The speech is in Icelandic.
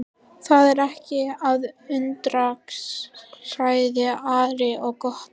Það er ekki að undra, sagði Ari og glotti.